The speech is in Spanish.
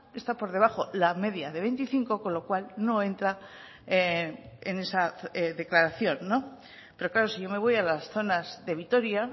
está por debajo la media de veinticinco con lo cual no entra en esa declaración pero claro si yo me voy a las zonas de vitoria